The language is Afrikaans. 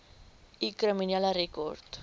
u kriminele rekord